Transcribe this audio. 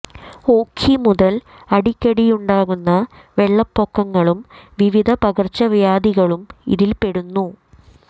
ഓഖി മുതൽ അടിക്കടിയുണ്ടാകുന്ന വെള്ളപ്പൊക്കങ്ങളും വിവിധ പകർച്ചവ്യാധികളും ഇതിൽ പെടുന്നു